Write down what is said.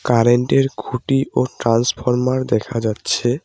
Current -এর খুঁটি ও ট্রান্সফরমার দেখা যাচ্ছে।